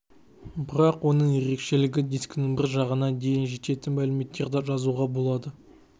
бірақ оның ерекшелігі дискінің бір жағына дейін жететін мәліметтерді жазуға болады